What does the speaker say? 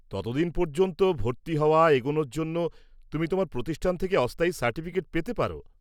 ততদিন পর্যন্ত, ভর্তি হওয়া এগনোর জন্য, তুমি তোমার প্রতিষ্ঠান থেকে অস্থায়ী সার্টিফিকেট পেতে পার।